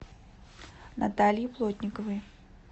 наталье плотниковой